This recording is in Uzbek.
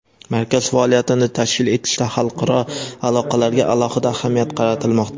Markaz faoliyatini tashkil etishda xalqaro aloqalarga alohida ahamiyat qaratilmoqda.